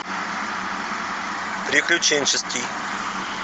приключенческий